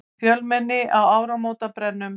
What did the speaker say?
Fjölmenni á áramótabrennum